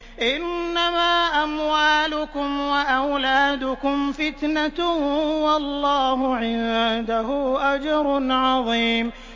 إِنَّمَا أَمْوَالُكُمْ وَأَوْلَادُكُمْ فِتْنَةٌ ۚ وَاللَّهُ عِندَهُ أَجْرٌ عَظِيمٌ